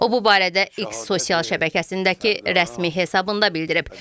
O bu barədə X sosial şəbəkəsindəki rəsmi hesabında bildirib.